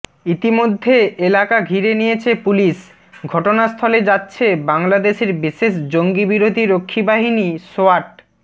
ইতিমধ্যে এলাকা ঘিরে নিয়েছে পুলিশ ঘটনাস্থলে যাচ্ছে বাংলাদেশের বিশেষ জঙ্গি বিরোধী রক্ষীবাহিনী সোয়াট